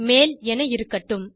மேல் என இருக்கட்டும்